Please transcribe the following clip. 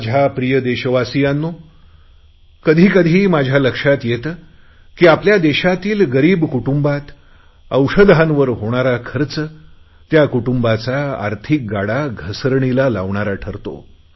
माझ्या प्रिय देशवासियांनो कधीकधी माझ्या लक्षात येते की आपल्या देशातील गरीब कुटुंबांत औषधांवर होणारा खर्च त्या कुटुंबाचा आर्थिक गाडा घसरणीला लावणारा ठरतो